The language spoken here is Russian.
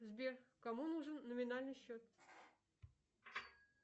сбер кому нужен номинальный счет